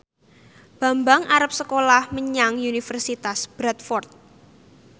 Bambang arep sekolah menyang Universitas Bradford